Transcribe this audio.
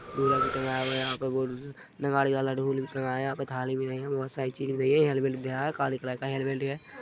ढोलक भी टंगाया हुआ है यहाँ पे नगाड़े वाला ढोल भी टँगाया है यहाँ पे थाली भी धयी है बोहत सारी चीज भी धरी है हेलमेट भी धरा है काली कलर का हेलमेट हैं।